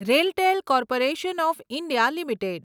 RailTel corporation of India limited